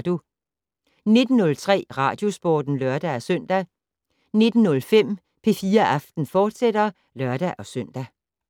19:03: Radiosporten (lør-søn) 19:05: P4 Aften, fortsat (lør-søn)